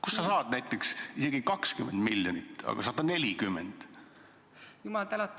Kust sa saad näiteks isegi 20 miljonit, rääkimata 140-st?